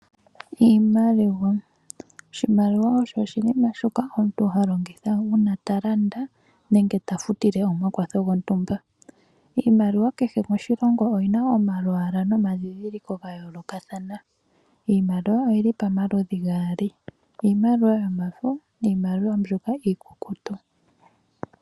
Iimaliwa Oshimaliwa osho oshinima shoka omuntu ha longitha uuna ta landa nenge ta futile omakwatho gontumba. Kehe moshilongo, iimaliwa oyi na omalwaala nenge omadhindhiliko ga yoolokathana. Iimaliwa oyi li pamaludhi gaali; iimaliwa mbyoka yomafo niimaliwa mbyoka iikukutu.